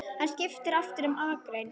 Hann skipti aftur um akrein.